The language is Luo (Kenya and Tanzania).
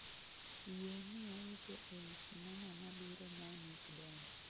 Yie miya weche ewi sinema mabiro ma nick denda